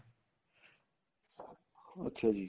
ਅੱਛਾ ਜੀ